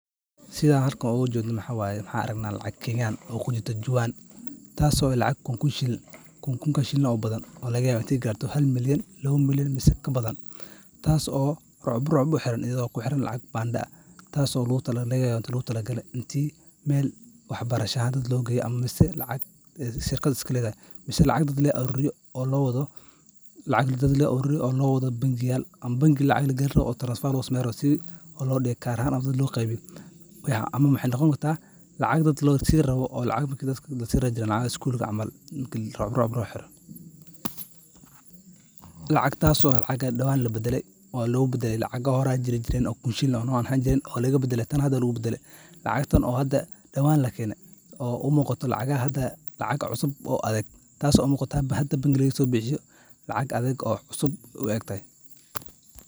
Sidha halkan oga jedno waxa laga Kenyan oo malyan malyan u xiran , xaalad la yaab leh oo qof si kedis ah ama lama filaan ah u helo juwan ama boorso lacag buuxda leh. Waa dhacdo keeni karta farxad, wareer, iyo xitaa cabsi, iyadoo ku xiran meesha laga helay iyo duruufaha la socda. Xeerarka iyo akhlaaqda bulsho waxay tilmaamayaan in haddii qof uu helo juwan lacag leh, gaar ahaan meel dadweyne ah, inuu isku dayo in uu raadiyo milkiilaha, ama ugu yaraan u geeyo saldhig boolis. Waxaa dhici karta in lacagtan ay leedahay qof dayacay, lagu xaday, ama laga ilaaway meel dad badan joogaan. Dadka qaarkood, in la celiyo lacagtaas waxay la mid tahay kasbasho sharaf iyo sumcad.